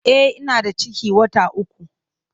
E, ina da ciki wata uku.